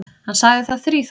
Hann sagði það þríþætt.